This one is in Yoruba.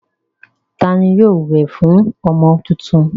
Ta ni yóò wẹ̀ fún ọmọ tuntun?